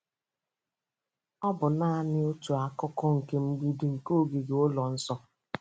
Ọ bụ naanị otu akụkụ nke mgbidi nke ogige ụlọ nsọ.